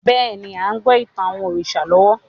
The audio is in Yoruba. Bẹ́ẹ̀ni, a ń gbọ́ ìtàn àwọn òrìṣà lọ́wọ́